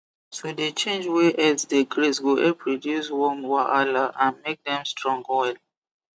to dey change where herds dey graze go help reduce worm wahala and make dem strong well